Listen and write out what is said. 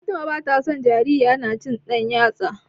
Fatima bata son jarirya tana cin ɗan yatsa.